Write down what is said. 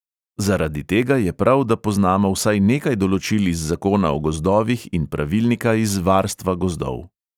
Zaradi tega je prav, da poznamo vsaj nekaj določil iz zakona o gozdovih in pravilnika iz varstva gozdov.